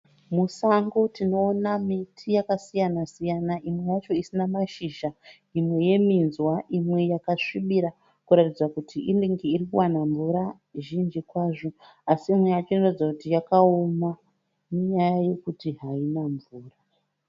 Musango tinoona miti yakasiyana siyana imwe yacho isina mashizha imwe yeminzwa imwe yakasvibira kuratidza kuti inenge irukuwana mvura zhinji kwazvo. Asi imwe yacho inoratidza kuti yakaoma, inyaya yekuti haina mvura.